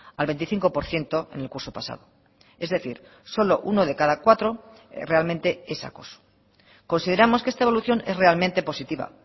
al veinticinco por ciento en el curso pasado es decir solo uno de cada cuatro realmente es acoso consideramos que esta evolución es realmente positiva